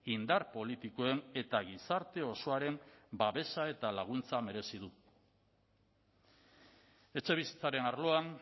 indar politikoen eta gizarte osoaren babesa eta laguntza merezi du etxebizitzaren arloan